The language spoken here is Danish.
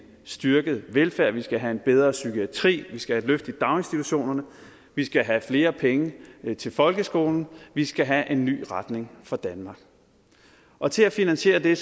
styrket velfærd vi skal have en bedre psykiatri vi skal have et løft i daginstitutionerne vi skal have flere penge til folkeskolen vi skal have en ny retning for danmark og til at finansiere det